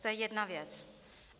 To je jedna věc.